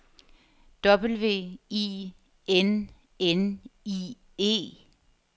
W I N N I E